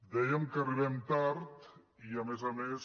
dèiem que arribem tard i a més a més